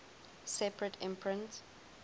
separate imprint